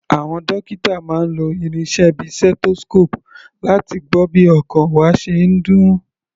Àwọn dókítà máa ń lo irinṣẹ́ bíi stethoscope láti gbọ́ bí ọkàn wa ṣe ń dún.